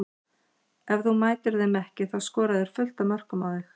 Ef þú mætir þeim ekki þá skora þeir fullt af mörkum á þig.